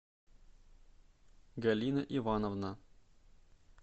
галина ивановна